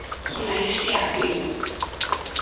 go nna le seabe mo